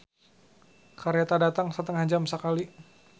"Kareta datang satengah jam sakali"